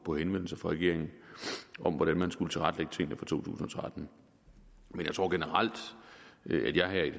på henvendelser fra regeringen om hvordan man skulle tilrettelægge tingene for to tusind og tretten men jeg tror generelt